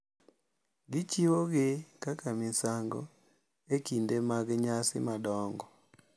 Gichiwogi kaka misango e kinde mag nyasi madongo.